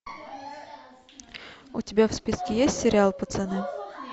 у тебя в списке есть сериал пацаны